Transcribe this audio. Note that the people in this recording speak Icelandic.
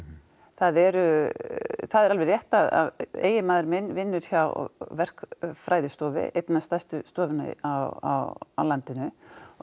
það er það er alveg rétt að eiginmaður minn vinnur hjá verkfræðistofu einni af stærstu stofunum á landinu og